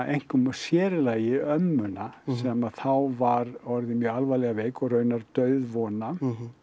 einkum og sér í lagi ömmuna sem þá var orðin mjög alvarlega veik og raunar dauðvona